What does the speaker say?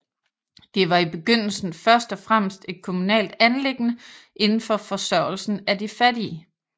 Den var i begyndelsen først og fremmest et kommunalt anliggende inden for forsørgelsen af de fattige